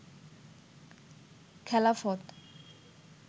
খেলাফত